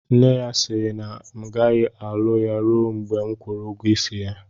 Nne ya sịrị na m agaghị alụ ya rue mgbe m kwụrụ ụgwọ isi ya